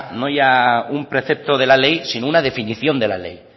no ya un precepto de la ley sino una definición de la ley